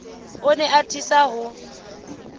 o ne a atisa ho